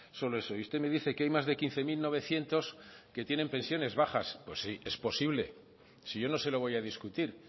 solo eso usted me dice que hay más de quince mil novecientos que tienen pensiones bajas pues sí es posible si yo no se lo voy a discutir